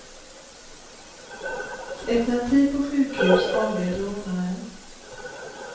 Efter en tid på sjukhus avled rånaren.